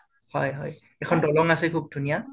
হয় হয়। এখন দলং আছে খুব ধুনীয়া